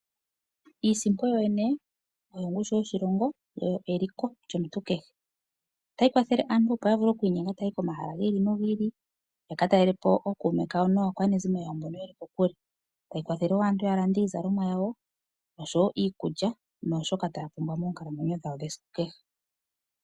Iisimpo yoyene oyo ongushu yoshilongo, oyo eliko lyomuntu kehe. Otayi kwathele aantu opo ya vule okuinyenga taya yi komahala gi ili nogi ili, ya ka talele po ookuume kawo naakwanezimo mboka ye li kokule. Otayi kwathele aantu opo ya lande iizalomwa yawo oshowo iikulya naashoka taya pumbwa moonkalamwenyo dhawo dhesiku kehe.